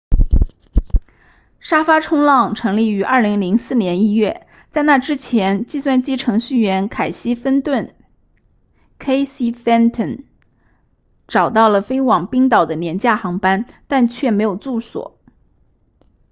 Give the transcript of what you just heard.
沙发冲浪成立于2004年1月在那之前计算机程序员凯西芬顿 casey fenton 找到了飞往冰岛的廉价航班但却没有住所